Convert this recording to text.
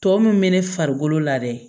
Tɔ mun bɛ ne farikolo la dɛ